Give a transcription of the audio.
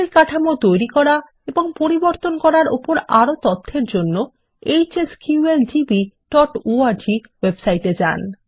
table কাঠামো তৈরি করা এবং পরিবর্তন করার উপর আরও তথ্যের জন্য hsqldbঅর্গ ওয়েবসাইট এ যান